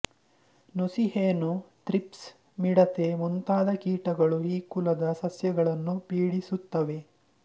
ನುಸಿ ಹೇನು ಥ್ರಿಪ್ಸ್ ಮಿಡತೆ ಮುಂತಾದ ಕೀಟಗಳು ಈ ಕುಲದ ಸಸ್ಯಗಳನ್ನು ಪೀಡಿಸುತ್ತವೆ